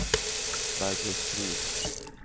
Barbro Strid